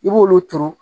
I b'olu turu